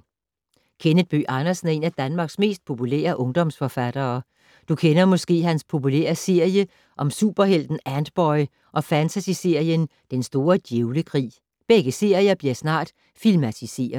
Kenneth Bøgh Andersen er en af Danmarks mest populære ungdomsforfattere. Du kender måske hans populære serie om superhelten Antboy og fantasyserien Den store djævlekrig. Begge serier bliver snart filmatiseret.